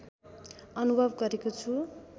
अनुभव गरेको छु